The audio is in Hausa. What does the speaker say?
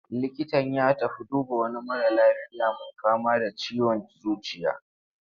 Likitan ya tafi duba wani mara lafiya mai fama da ciwon zuciya.